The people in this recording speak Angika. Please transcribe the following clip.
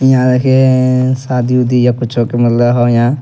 यहां देखें एए शादी-उदी या कुछो के मतलब हौ यहां।